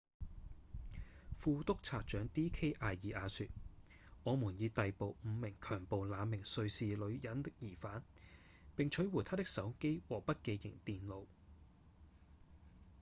副督察長 d k 阿爾雅說：「我們已逮捕五名強暴那名瑞士女人的嫌犯並取回她的手機和筆記型電腦」